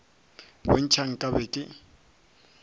bo ntšha nka be ke